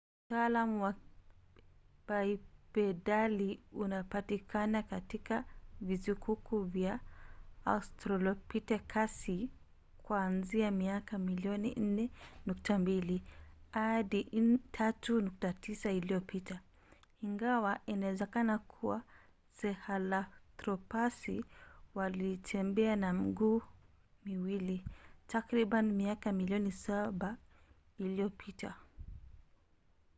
utaalamu wa bipedali unapatikana katika visukuku vya australopithekasi kuanzia miaka milion 4.2 hadi 3.9 iliyopita ingawa inawezekana kuwa sahelanthropasi walitembea kwa miguu miwili takriban miaka milioni saba iliyopita